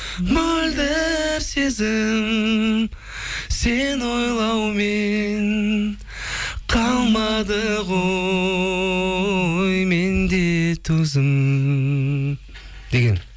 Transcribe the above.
мөлдір сезім сені ойлаумен қалмады ғой менде төзім деген